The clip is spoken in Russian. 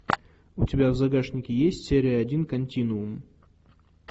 у тебя в загашнике есть серия один континуум